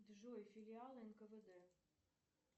джой филиалы нквд